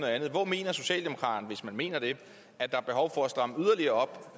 andet hvor mener socialdemokraterne hvis man mener det at der er behov for at stramme yderligere